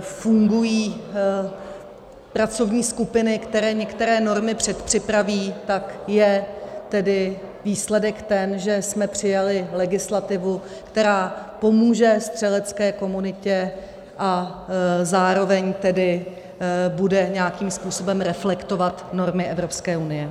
fungují pracovní skupiny, které některé normy předpřipraví, tak je tedy výsledek ten, že jsme přijali legislativu, která pomůže střelecké komunitě, a zároveň tedy bude nějakým způsobem reflektovat normy Evropské unie.